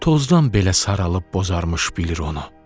Tozdan belə saralıb bozarmış bilir onu.